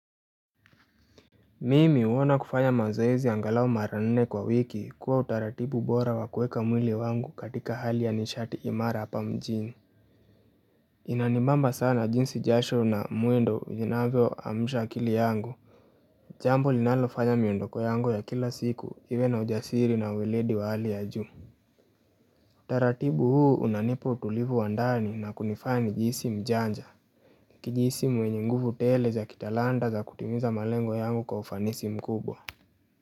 Mimi huona kufanya mazoezi angalao mara nne kwa wiki kuwa utaratibu bora wa kueka mwili wangu katika hali ya nishati imara hapa mjini Inanibamba sana jinsi jasho na mwendo zinavyoamsha akili yangu Jambo linalofanya miondoko yangu ya kila siku iwe na ujasiri na ueledi wa hali ya juu Utaratibu huu unanipa utulivu wa ndani na kunifanya nijihisi mjanja Nikijihisi mwenye nguvu tele za kitalanta za kutimiza malengo yangu kwa ufanisi mkubwa.